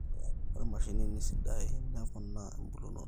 Ore mashinini sidai neponaa ebulunoto